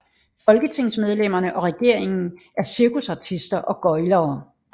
Folketingsmedlemmerne og regeringen er cirkusartister og gøglere